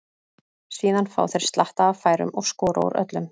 Síðan fá þeir slatta af færum og skora úr öllum.